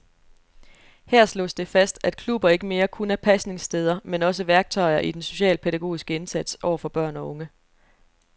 Her slås det fast, at klubber ikke mere kun er pasningssteder, men også værktøjer i den socialpædagogiske indsats over for børn og unge.